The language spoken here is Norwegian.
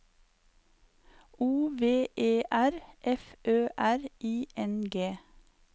O V E R F Ø R I N G